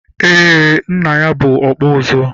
eé, Nna ya bụ ọkpụ ụzụ.